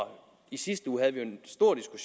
i sidste uge havde vi